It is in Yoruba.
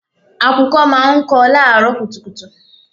Àkùkọ máa ń kọ láàrọ́ kùtùkùtù.